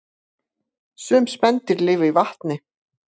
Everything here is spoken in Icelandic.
Sum spendýr lifa í vatni